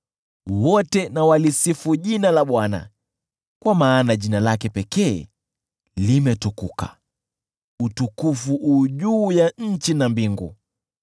Wote na walisifu jina la Bwana , kwa maana jina lake pekee limetukuka, utukufu wake uko juu ya nchi na mbingu.